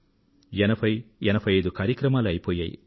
80 85 కార్యక్రమాలు అయిపోయాయి